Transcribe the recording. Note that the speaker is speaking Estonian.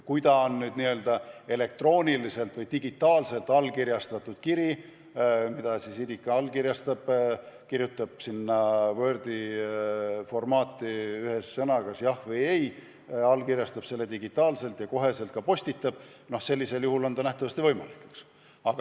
Kui on elektrooniliselt või digitaalselt allkirjastatud kiri, mille puhul isik kirjutab sinna Wordi formaati ühe sõna, kas "jah" või "ei", allkirjastab selle digitaalselt ja kohe ka postitab, siis on see kõik nähtavasti võimalik.